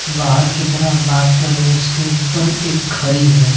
बाहर की तरह बात कर रहे उसके ऊपर एक खरी है।